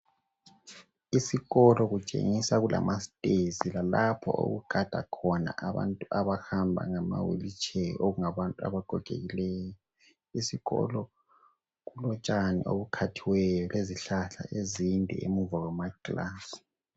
Isikolo kutshengisa kulama stairs lalapho okugada khona abantu abahamba ngama wheel chair okungabantu abagokekileyo iskolo kulotshani obukhathiweyo lezihlahla ezinde emuva kwama class.